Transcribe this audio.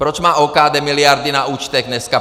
Proč má OKD miliardy na účtech dneska?